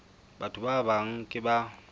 batho ba bang ke ba